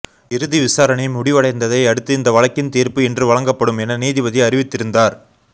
இறுதி விசாரணை முடிவடைந்ததை அடுத்து இந்த வழக்கின் தீர்ப்பு இன்று வழங்கப்படும் என நீதிபதி அறிவித்திருந்தார்